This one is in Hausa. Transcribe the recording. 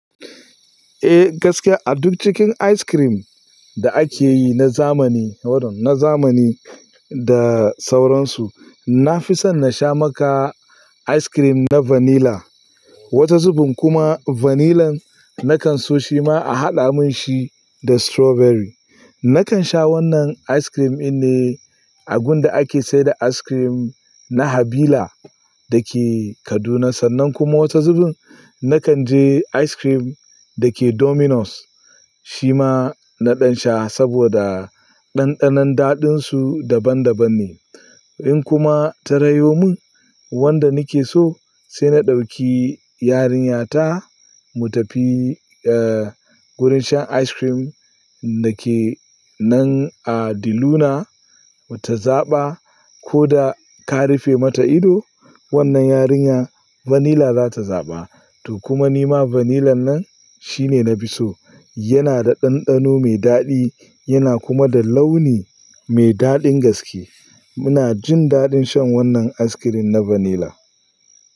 Eh gaskiya a duk cikin ice cream da ake yi na zamani, hold on, na zamani da sauransu, na fi son na sha maka ice cream na vanilla. Wata zubun kuma vanilan nakan so shi ma a haɗa min shi da strawberry. Nakan sha wannan ice cream in ne agunda ake sayar da ice cream na Habila da ke Kaduna. Sannan kuma wata zubun nakan je ice cream da ke Domino's, shi ma naɗan sha saboda ɗanɗanon daɗinsu daban daban ne. In kuma ta rayo min wanda nake so sai na ɗauki yarinyata mu tafi, eh, wurin shan ice cream da ke nan a Di Luna. Mu ta zaɓa ko da ka rufe mata ido wannan yarinya vanilla za ta zaɓa. To kuma nima vanilan nan shine na fi so. Yana da ɗanɗano me daɗi yana kuma da launi mai daɗin gaske. Muna jin daɗin shan wannan ice cream na vanilla.